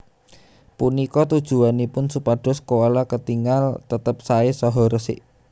Punika tujuwanipun supados koala ketingal tetep saé saha resik